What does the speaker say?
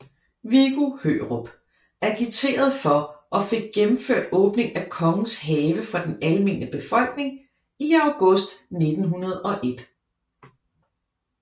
Viggo Hørup agiterede for og fik gennemført åbningen af Kongens Have for den almene befolkning i august 1901